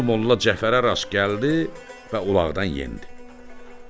Molla Cəfərə rast gəldi və ulaqdan endi.